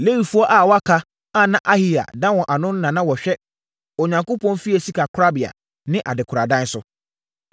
Lewifoɔ a wɔaka a na Ahiya da wɔn ano no na na wɔhwɛ Onyankopɔn fie sikakorabea ne adekoradan so.